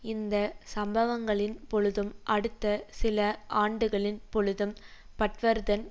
இந்த சம்பவங்களின் பொழுதும் அடுத்த சில ஆண்டுகளின் பொழுதும் பட்வர்தன்